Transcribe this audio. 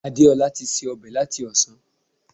Adeola ti se ọbẹ̀ láti ọ̀sán